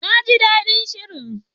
Na ji daɗin shirin.